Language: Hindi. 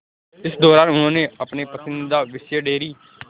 इस दौरान उन्होंने अपने पसंदीदा विषय डेयरी